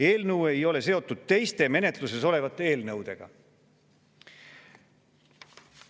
Eelnõu ei ole seotud teiste menetluses olevate eelnõudega.